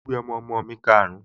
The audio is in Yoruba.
Mo gbé ọmọọmọ mi karùn-ún